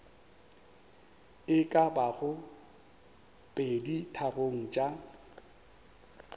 e ka bago peditharong tša